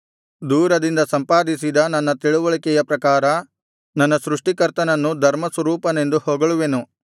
ದೂರದಿಂದ ಸಂಪಾದಿಸಿದ ನನ್ನ ತಿಳಿವಳಿಕೆಯ ಪ್ರಕಾರ ನನ್ನ ಸೃಷ್ಟಿಕರ್ತನನ್ನು ಧರ್ಮಸ್ವರೂಪನೆಂದು ಹೊಗಳುವೆನು